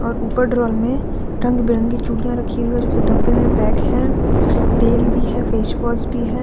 और ऊपर ड्रार में रंग-बिरंगी चूड़ियां रखी हुई हैं जोकि डब्बे में पैक हैं। तेल भी है फेस वॉश भी है।